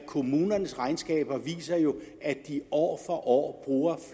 kommunernes regnskaber viser jo at de år for år bruger